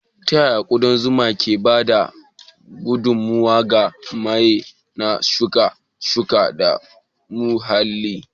Ta yaya ƙudan zuma ke ba da gudummawa ga baye na shuke-shuke da muhalli?